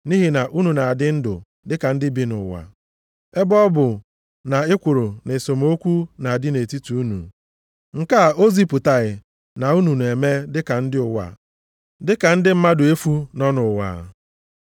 Nʼihi na unu na-adị ndụ dịka ndị bi nʼụwa, ebe ọ bụ na ekworo na esemokwu na-adị nʼetiti unu, nke a o zipụtaghị na unu na-eme dịka ndị ụwa, dịka ndị mmadụ efu nọ nʼụwa.